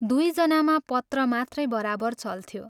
दुइ जनामा पत्र मात्रै बराबर चल्थ्यो।